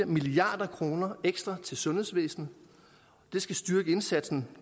milliard kroner ekstra til sundhedsvæsenet det skal styrke indsatsen